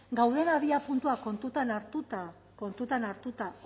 gauden abiapuntua kontuan hartuta kontutan hartuta